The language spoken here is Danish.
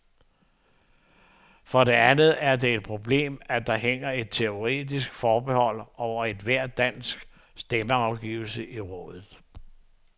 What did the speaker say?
For det andet er det et problem, at der hænger et teoretisk forbehold over hver dansk stemmeafgivelse i rådet.